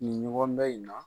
Nin ɲɔgɔn dan in na.